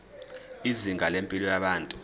izinga lempilo yabantu